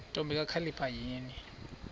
ntombi kakhalipha yini